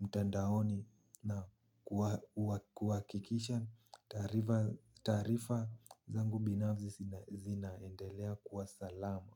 mtandaoni na kuha kuha kuhakikisha taarifa taarifa zangu binafsi zina zinaendelea kuwa salama.